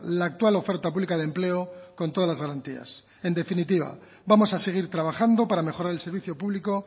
la actual oferta pública de empleo con todas las garantías en definitiva vamos a seguir trabajando para mejorar el servicio público